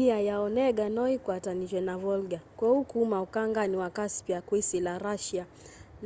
iia ya onega no yikwatanitw'e na volga kwoou kuma ukangani wa caspia kwisila russia